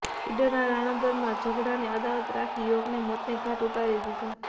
ઈડરના રણોદરામાં ઝઘડાની અદાવત રાખી યુવકને મોતને ઘાટ ઉતારી દીધો